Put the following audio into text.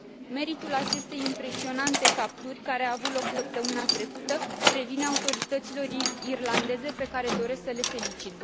Meritul acestei impresionante capturi, care a avut loc săptămâna trecută, revine autorităților irlandeze, pe care doresc să le felicit.